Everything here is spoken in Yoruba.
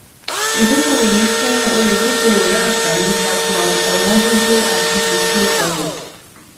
ìdókòwò yìí fún olùdókòwò lánfààní takò ọwọn gogo àti bùkún ọrọ